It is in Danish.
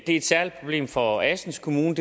et særligt problem for assens kommune